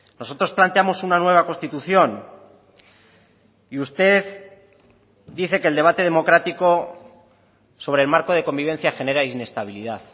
nosotros planteamos una nueva constitución y usted dice que el debate democrático sobre el marco de convivencia genera inestabilidad